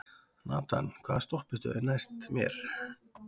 Nathan, hvaða stoppistöð er næst mér?